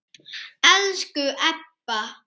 Elsku Ebba.